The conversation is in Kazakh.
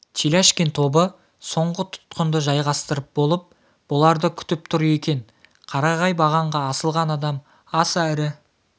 теляшкин тобы соңғы тұтқынды жайғастырып болып бұларды күтіп тұр екен қарағай бағанға асылған адам аса ірі